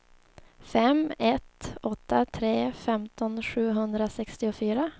fem ett åtta tre femton sjuhundrasextiofyra